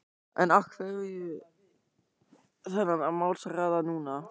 En af hverju þennan málshraða núna?